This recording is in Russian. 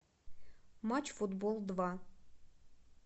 матч футбол два